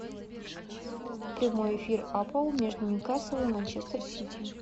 прямой эфир апл между ньюкасл и манчестер сити